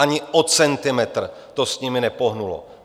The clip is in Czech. Ani o centimetr to s nimi nepohnulo.